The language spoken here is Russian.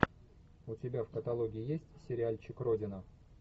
у тебя в каталоге есть сериальчик родина